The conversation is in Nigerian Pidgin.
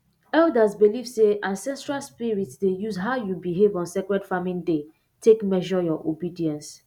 elders believe say ancestral spirits dey use how you behave on sacred farming day take measure your obedience